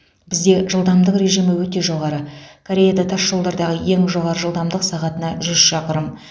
бізде жылдамдық режимі өте жоғары кореяда тасжолдардағы ең жоғары жылдамдық сағатына жүз шақырым